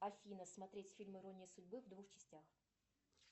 афина смотреть фильм ирония судьбы в двух частях